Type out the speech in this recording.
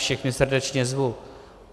Všechny srdečně zvu.